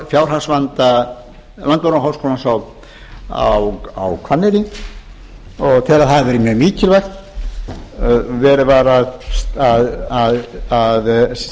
fjárhagsvanda landbúnaðarháskólans á hvanneyri og tek að að það hafi verið mjög mikilvægt verið var að